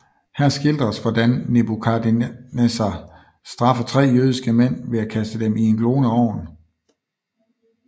Her skildres hvordan Nebukadnesar straffer tre jødiske mænd ved at kaste dem i en gloende ovn